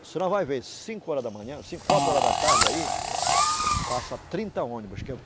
A senhora vai ver, cinco horas da manhã, sim, quatro horas da tarde aí, passa trinta ônibus que eu